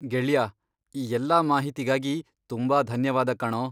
ಗೆಳ್ಯಾ, ಈ ಎಲ್ಲ ಮಾಹಿತಿಗಾಗಿ ತುಂಬಾ ಧನ್ಯವಾದ ಕಣೋ.